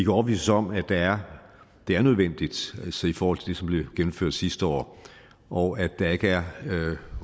overbevises om at det er det er nødvendigt i forhold til det som blev gennemført sidste år og at der ikke er